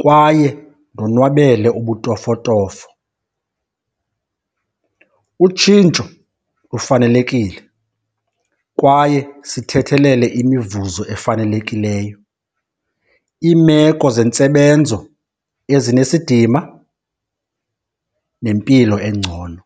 kwaye ndonwabele ubutofotofo. Utshintsho lufanelekile kwaye sithethelele imivuzo efanelekileyo, iimeko zentsebenzo ezinesidima nempilo engcono.